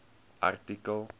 artikel